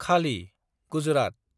खालि - गुजरात